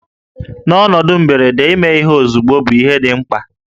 N'ọnọdụ mberede, ime ihe ozugbo bụ ihe dị mkpa